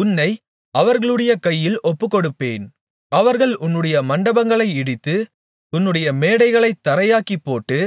உன்னை அவர்களுடைய கையில் ஒப்புக்கொடுப்பேன் அவர்கள் உன்னுடைய மண்டபங்களை இடித்து உன்னுடைய மேடைகளைத் தரையாக்கிப்போட்டு